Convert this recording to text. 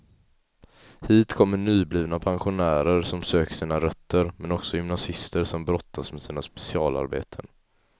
Hit kommer nyblivna pensionärer som söker sina rötter, men också gymnasister som brottas med sina specialarbeten.